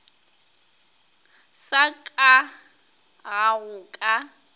sa ka ga go ka